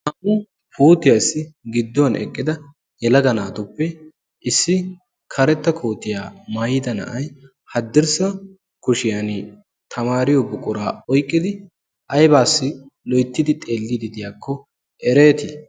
na''u puutiyaassi gidduwn eqqida yalaga naatuppe issi karetta kootiyaa maayida na'ay haddirssa kushiyan tamaariyo buquraa oyqqidi aybaassi loyttidi xeelliidi diyaakko ereetii